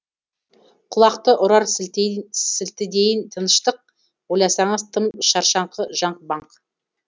құлақты ұрар сілтідейін тыныштық ойласаңыз тым шаршаңқы жаңға бақ